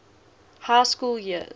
high school years